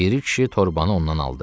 Piri kişi torbanı ondan aldı.